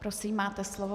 Prosím, máte slovo.